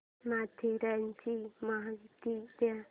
माथेरानची माहिती दे